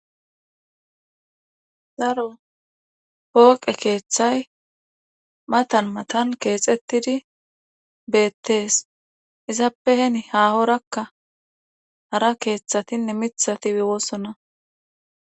daro pooqe keeththay matan matan keexettidi beettees izappeheni haahorakka hara keeththatinne mithati ewoossona